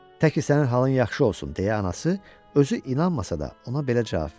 Təki sənin halın yaxşı olsun, deyə anası özü inanmasa da ona belə cavab verdi.